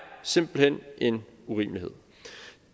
simpelt hen en urimelighed